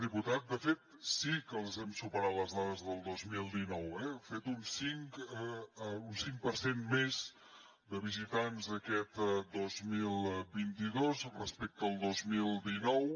diputat de fet sí que les hem superat les dades del dos mil dinou eh hem fet un cinc per cent més de visitants aquest dos mil vint dos respecte al dos mil dinou